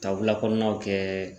Ka wilakɔɔnaw kɛɛ